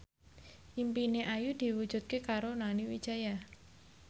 impine Ayu diwujudke karo Nani Wijaya